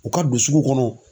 U ka don sugu kɔnɔ.